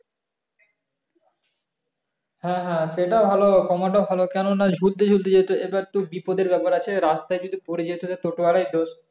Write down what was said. হ্যাঁ হ্যাঁ সেটা ভালো কমা টা ভালো কেনো না ঝুলতে ঝুলতে যেতো এবার তো বিপদে ব্যাপার আছে রাস্তায় যদি পরে যেতো তাহলে toto ওরাই দোষ